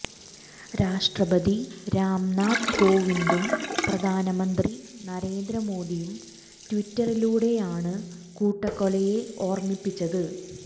രാഷ്ട്രപതി രാംനാഥ് കോവിന്ദും പ്രധാനമന്ത്രി നരേന്ദ്ര മോദിയും ട്വിറ്ററിലൂടെയാണ് കൂട്ടക്കൊലയെ ഓര്മ്മിച്ചത്